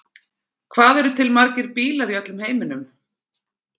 Hvað eru til margir bílar í öllum heiminum?